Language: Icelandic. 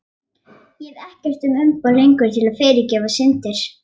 Ég hef ekkert umboð lengur til að fyrirgefa syndir.